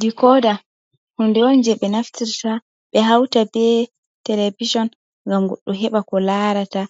Di koda hunde on je ɓe naftirta ɓe hauta be televishon, ngam goɗɗo heɓa ko laarata